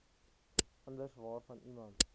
anders waaraan iemand